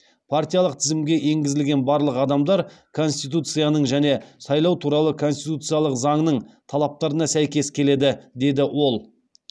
партиялық тізімге енгізілген барлық адамдар конституцияның және сайлау туралы конституциялық заңның талаптарына сәйкес келеді деді ол